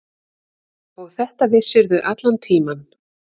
Og þetta vissirðu allan tímann.